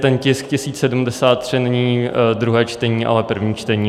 Ten tisk 1073 není druhé čtení, ale první čtení.